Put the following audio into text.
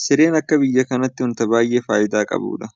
Sireen akka biyya kanaatti waanta baay'ee faayidaa qabudha.